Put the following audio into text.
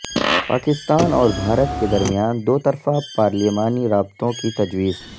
پاکستان اور بھارت کے درمیان دو طرفہ پارلیمانی رابطوں کی تجویز